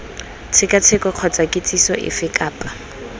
tshekatsheko kgotsa kitsiso efe kapa